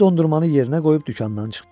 O dondurmanı yerinə qoyub dükandan çıxdı.